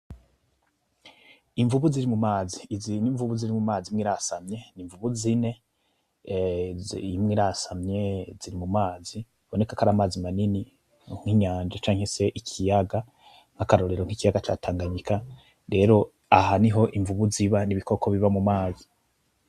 Invubu ziri mu mazi. Izi ni invubu ziri mumazi imye irasamye ni invubu zine, ehh imye irasamye ziri mumazi biboneka ko ari amazi manini nk'inyanja canke se ikiyaga. Akarorero nk'iyaga ca Tanganyika, rero aha niho invubu ziba ni ibikoko biba mu mazi.